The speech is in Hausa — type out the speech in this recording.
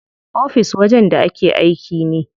Ofis wajen da ake aiki ne.